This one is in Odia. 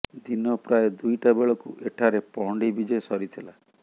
ଦିନ ପ୍ରାୟ ଦୁଇଟା ବେଳକୁ ଏଠାରେ ପହଣ୍ଡି ବିଜେ ସରିଥିଲା